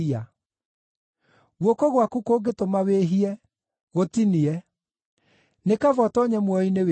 Guoko gwaku kũngĩtũma wĩhie, gũtinie. Nĩ kaba ũtoonye muoyo-inĩ wĩ kĩonje,